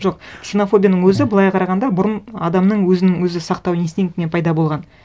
жоқ ксенофобияның өзі былай қарағанда бұрын адамның өзінің өзі сақтау инстинктінен пайда болған